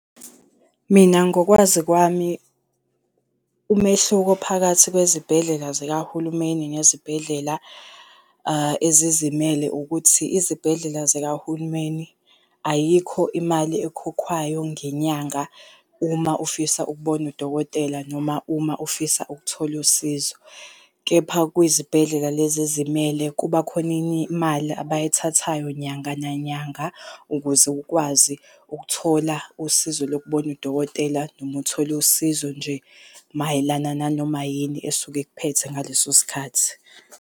Mina ngokwazi kwami, umehluko phakathi kwezibhedlela zikahulumeni nezibhedlela ezizimele ukuthi, izibhedlela zikahulumeni ayikho imali ekhokhwayo ngenyanga, uma ufisa ukubona udokotela noma uma ufisa ukuthola usizo. Kepha kwizibhedlela lezi ezimele kuba khona imali abayithathayo nyanga nanyanga ukuze ukwazi ukuthola usizo lokubona udokotela noma uthole usizo nje mayelana nanoma yini esuke ikuphethe ngaleso sikhathi.